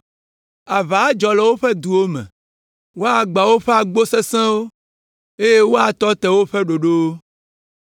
Aʋa adzɔ le woƒe duwo me; woagbã woƒe agbo sesẽwo, eye woatɔ te woƒe ɖoɖowo.